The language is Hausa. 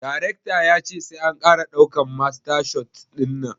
Darecta ya ce sai an kara daukan masta shot dinnan